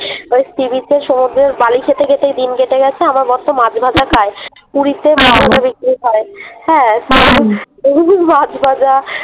ওই Sea-beach এ সমুদ্রের বালি খেতে খেতেই দিন কেটে গেছে আমার বরতো মাছভাজা খায় পুরীতে বিক্রি হয় ।হ্যাঁ মাছভাজা